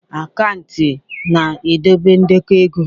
Akantati na-edobe ndekọ ego.